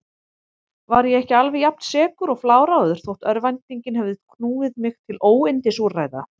Var ég ekki alveg jafnsekur og fláráður þó örvæntingin hefði knúið mig til óyndisúrræða?